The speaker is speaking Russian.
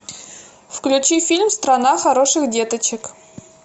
включи фильм страна хороших деточек